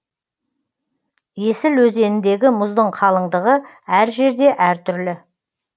есіл өзеніндегі мұздың қалыңдығы әр жерде әртүрлі